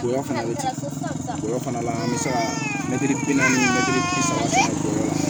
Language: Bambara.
Sogo fana bɛ sago fana an bɛ se ka mɛtiri bi naani mɛtiri bi saba